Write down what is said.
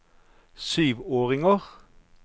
syvåringer